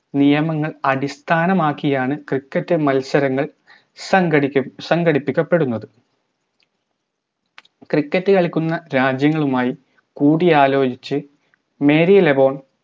നിയമങ്ങൾ അടിസ്ഥാനമാക്കിയാണ് cricket മത്സരങ്ങൾ സംഘടിക്ക സംഘടിപ്പിക്കപ്പെടുന്നത് cricket കളിക്കുന്ന രാജ്യങ്ങളുമായി കൂടിയാലോചിച്ച് merry lagooon